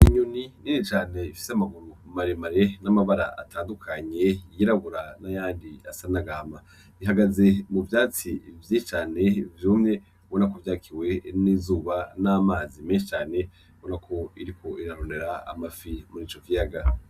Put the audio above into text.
Inyoni nini cane ifise amaguru maremare n'amabara atandukanye yirabura n'ayandi asa n'agahama. Ihagaze mu vyatsi vyinshi cane vyumye ubonako vyakiwe n'izuba n'amazi menshi cane, ubona iriko irarondera amafi kuri ico kuri ico kiyaga.